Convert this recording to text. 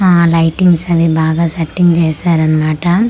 ఆ లైటింగ్స్ అన్నీ బాగా సెట్టింగ్ చేశారు అన్నమాట .